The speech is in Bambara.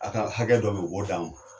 A ka hakɛ dɔ be ye u b'o d'an ma